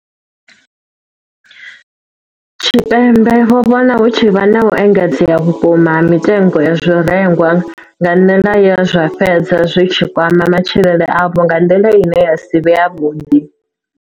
Tshipembe vho vhona hu tshi vha na u engedzea vhukuma ha mitengo ya zwirengwa nga nḓila ye zwa fhedza zwi tshi kwama matshilele avho nga nḓila ine ya si vhe yavhuḓi.